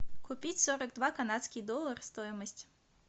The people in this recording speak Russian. купить сорок два канадских доллара стоимость